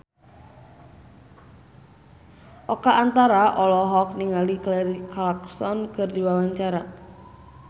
Oka Antara olohok ningali Kelly Clarkson keur diwawancara